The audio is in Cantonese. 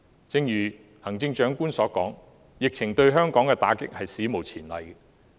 正如行政長官所說，疫情對香港的打擊是史無前例的。